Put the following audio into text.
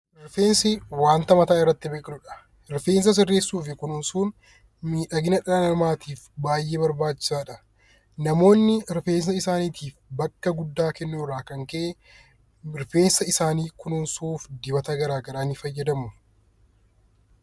Rifeensi wanta mataa irratti biqilu dha. Rifeensa sirreessuu fi kunuunsuun miidhagina dhala namaatiif baay'ee barbaachisaa dha. Namoonni rifeensa isaaniitiif bakka guddaa kennuu irraa kan ka'e, rifeensa isaanii kunuunsuuf dubata garaagaraa ni fayyadamu.